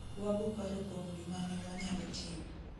waboparo kuom gimane wanyalo timo